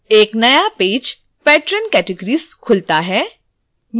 एक नया page patron categories खुलता है